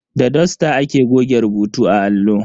Da dusta ake goge rubutu a allo.